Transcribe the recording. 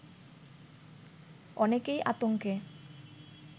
অনেকেই আতঙ্কে